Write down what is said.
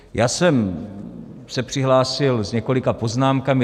Já jsem se přihlásil s několika poznámkami.